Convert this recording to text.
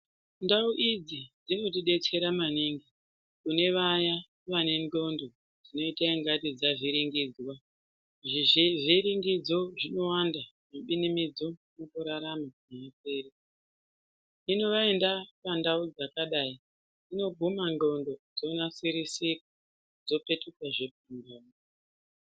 Ndau idzi dzinotidetsera maningi kune vaya vanenxlondo dzinoita ingati dzavhiringidzwa zvivhiringidzo zvinowanda zvibinimidzo mukurarama azviperi hino vaenda pandau dzakadai dzinoguma nxlondo dzonasirisika dzopetukahe pandau.